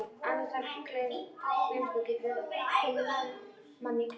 Andartaks gleymska getur komið manni í klandur.